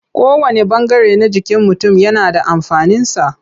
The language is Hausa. Kowanne ɓangare na jikin mutum yana da amfaninsa.